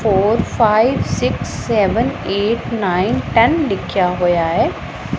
Four five six seven eight nine ten ਲਿਖਿਆ ਹੋਇਆ ਹੈ।